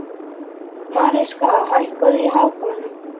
Mariska, hækkaðu í hátalaranum.